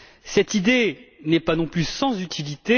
Cette idée n'est pas non plus sans utilité.